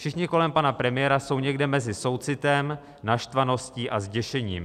Všichni kolem pana premiéra jsou někde mezi soucitem, naštvaností a zděšením.